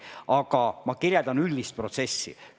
Aga ma kirjeldan üldist protsessi.